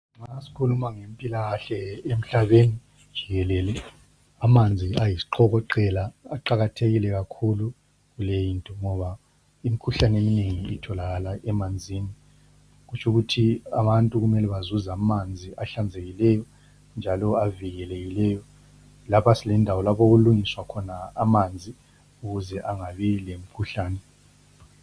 Ma skhuluma ngempilakahle emhlabeni jikelele amanzi ayisiqokoqela aqakathekile kakhulu leyinto ngoba imkhuhlane eminengi itholakala emanzini. Kutshukuthi abantu kumele bazuze amanzi ahlanzekileyo njalo avikelekileyo, lapha silendawo lapho okulungiswa khona amanzi ukuze angabi lemkhuhlane.